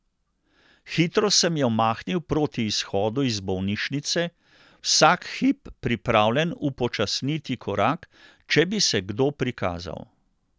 Hitro sem jo mahnil proti izhodu iz bolnišnice, vsak hip pripravljen upočasniti korak, če bi se kdo prikazal.